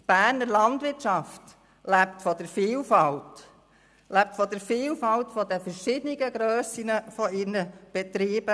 Die Berner Landwirtschaft lebt von der Vielfalt der unterschiedlichen Grössen und Ausrichtungen ihrer Betriebe.